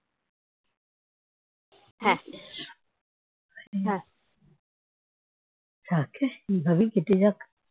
এভাবেই কেটে যাক